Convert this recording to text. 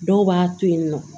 Dɔw b'a to yen nɔ